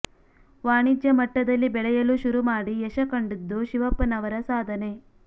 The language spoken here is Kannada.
ವಾಣಿಜ್ಯ ಮಟ್ಟದಲ್ಲಿ ಬೆಳೆಯಲು ಶುರು ಮಾಡಿ ಯಶ ಕಂಡದ್ದು ಶಿವಪ್ಪನವರ ಸಾಧನೆ